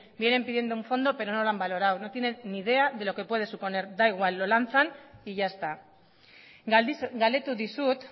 viene pidiendo un fondo pero no lo han valorado no tienen ni idea de lo que puede suponer da igual lo lanzan y ya está galdetu dizut